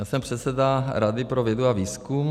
Já jsem předseda Rady pro vědu a výzkum.